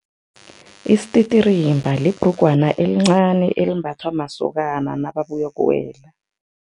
Isititirimba libhrugwana elincani elimbathwa masokana nababuyokuwela.